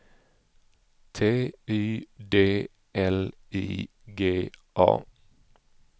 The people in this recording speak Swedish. T Y D L I G A